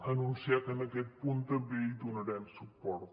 anunciar que en aquest punt també hi donarem suport